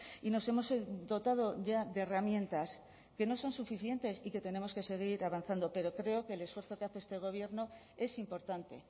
y nos hemos dotado ya de herramientas que no son suficientes y que tenemos que seguir avanzando pero creo que el esfuerzo que hace este gobierno es importante